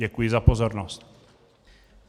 Děkuji za pozornost.